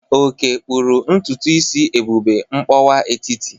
Oke kpụrụ ntutu isi Ebube mkpọwa etiti.